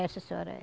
É, sim senhora.